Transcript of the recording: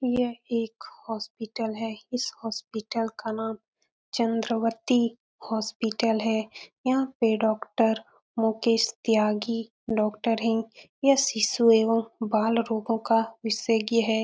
ये एक हॉस्पिटल है। इस हॉस्पिटल का नाम चन्द्रवर्ती हॉस्पिटल है। यहाँ पे डॉक्टर मुकेश त्यागी डॉक्टर हैं। यह शिशु एंव बाल रोगो का विशेषज्ञ है।